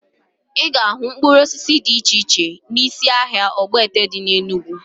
Ị ga-ahụ mkpụrụ osisi dị iche iche n'isi ahịa Ogbete dị na Enugwu